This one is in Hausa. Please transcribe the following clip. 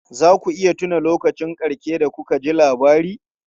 Za ku iya tuna lokacin ƙarshe da kuka ji labari?